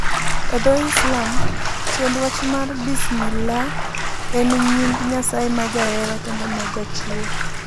E dho Islam, tiend wach mar Bismillah en e nying' Nyasaye ma Jahera kendo ma Jachiwo.